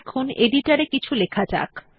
এখন এডিটর এ কিছু লেখা যাক